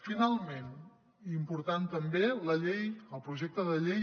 finalment i important també la llei el projecte de llei